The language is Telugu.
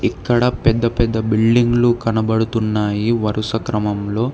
ఇక్కడ పెద్ద పెద్ద బిల్డింగ్లు కనబడుతున్నాయి వరుస క్రమంలో.